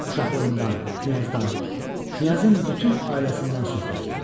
Uşaqlığından, knyazdan, knyazın bütün ailəsindən söhbət getdi.